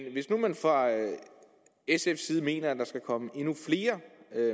hvis nu man fra sfs side mener at der skal komme endnu flere